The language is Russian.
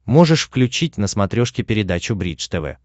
можешь включить на смотрешке передачу бридж тв